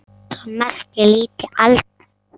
En það merkir lítil alda.